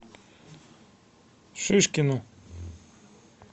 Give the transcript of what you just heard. шишкину